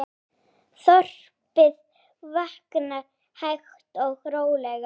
Þorpið vaknar hægt og rólega.